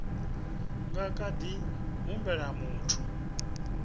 nga kha ḓi humbela muthu